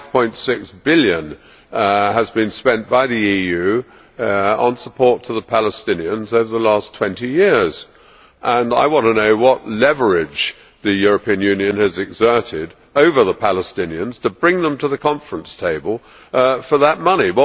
5.6 billion has been spent by the EU on support to the Palestinians over the last twenty years, and I want to know what leverage the European Union has exerted over the Palestinians to bring them to the conference table for that money.